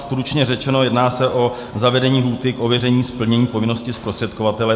Stručně řečeno, jedná se o zavedení lhůty k ověření splnění povinnosti zprostředkovatele.